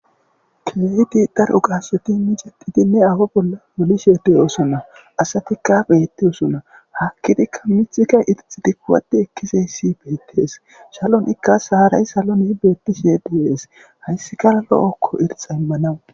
Kileti dar'u gassoti mijedidinne awo bolla molishe deyosunna asatikkabeette usunna hakkidikka mithika irixi dikkuwati ekkiseyssi beettees salon ikka saaray saloni beettishe deees hayssi kara lo'okko irxa immanawu.